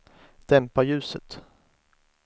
dämpa ljuset